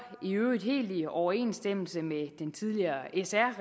i øvrigt helt i overensstemmelse med den tidligere sr